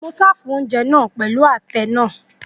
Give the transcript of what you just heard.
Mo sin ounjẹ naa pẹlu atẹ naa